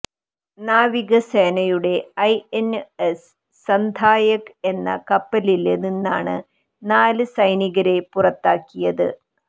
നാവികസേനയുടെ ഐഎന്എസ് സന്ധായക് എന്ന കപ്പലില് നിന്നാണ് നാല് സൈനികരെ പുറത്താക്കിയത്